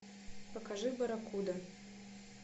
покажи барракуда